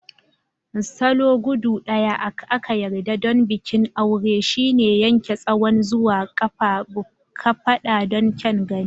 Salo guda daya a ka yarda don bikin aure shine Yanke Tsawon zuwa kafada don kyan gani.